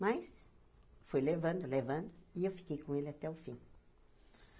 Mas fui levando, levando, e eu fiquei com ele até o fim.